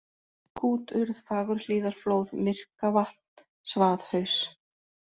Kúturð, Fagurhlíðarflóð, Myrkavatn, Svaðhaus